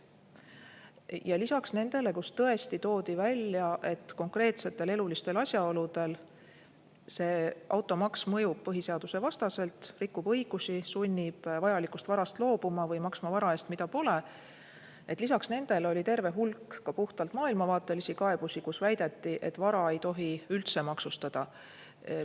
Ja lisaks nendele, kus tõesti toodi välja, et konkreetsetel elulistel asjaoludel automaks mõjub põhiseadusvastaselt, rikub õigusi, sunnib vajalikust varast loobuma või maksma vara eest, mida pole – lisaks nendele oli terve hulk ka puhtalt maailmavaatelisi kaebusi, kus väideti, et vara ei tohi üldse maksustada.